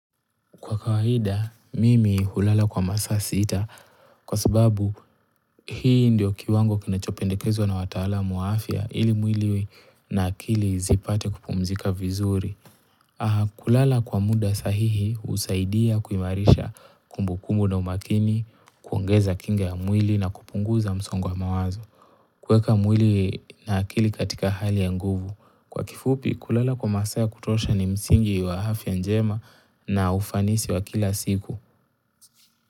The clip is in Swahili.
Kwa kawaida, mimi hulala kwa masaa sita kwa sababu hii ndio kiwango kinechopendekezwa na watalamu wa afya ili mwili na akili zipate kupumzika vizuri. Kulala kwa muda sahihi husaidia kuimarisha kumbukumbu na umakini, kuongeza kinga ya mwili na kupunguza msongo wa mawazo. Kuweka mwili na akili katika hali ya nguvu. Kwa kifupi, kulala kwa masaa ya kutosha ni msingi wa afya njema na ufanisi wa kila siku.